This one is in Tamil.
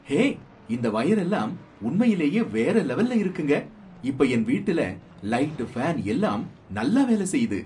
ஹே! இந்த வயரெல்லாம் உண்மையிலேயே வேற லெவல்ல இருக்குங்க, இப்ப என் வீட்டுல லைட் ஃபேன் எல்லாம் நல்லா வேல செய்யுது